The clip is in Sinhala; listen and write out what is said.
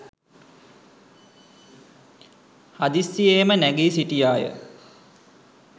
හදිස්සියේම නැගී සිටියාය.